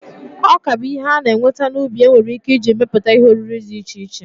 Ọka bụ ihe a na-enweta n'ubi enwere ike iji emepụta ihe oriri dị iche iche.